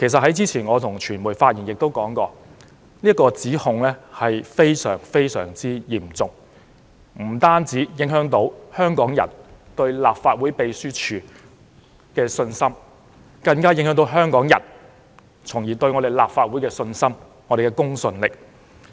我之前向傳媒發言時亦說過，該項指控非常嚴重，不單影響香港人對立法會秘書處的信心，更加影響香港人對立法會的信心和公信力。